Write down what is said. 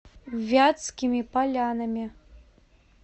вятскими полянами